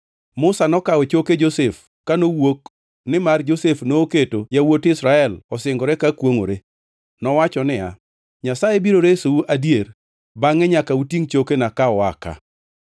Musa nokawo choke Josef ka nowuok nimar Josef noketo yawuot Israel osingore ka kwongʼore. Nowacho niya, “Nyasaye biro resou adier, bangʼe nyaka utingʼ chokena ka ua ka.”